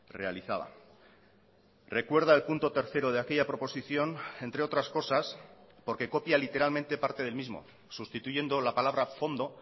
realizaba recuerda el punto tercero de aquella proposición entre otras cosas porque copia literalmente parte del mismo sustituyendo la palabra fondo